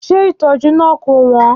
Ṣé ìtọ́jú náà kò wọ́n?